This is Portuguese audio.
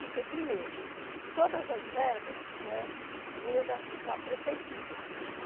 Porque primeiro, todas as verbas, né, vinham da su da prefeitura.